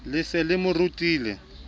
le se le mo rutile